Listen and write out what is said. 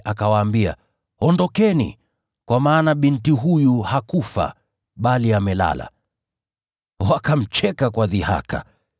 akawaambia, “Ondokeni! Kwa maana binti huyu hakufa, bali amelala.” Wakamcheka kwa dhihaka.